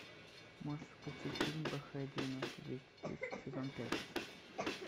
можешь включить фильм бх девяносто двести десять сезон пять